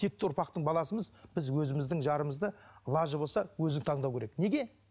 текті ұрпақтың баласымыз біз өзіміздің жарымызды лажы болса өзі таңдауы керек неге